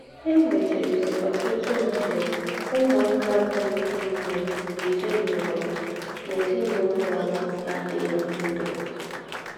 È nwézìrì ọ́tùtù ndè úmùákà bụ́ ńdị́ bì n’èzín’úlọ̀ n’èzín’úlọ̀ ná-àdị̀ghí n’údò.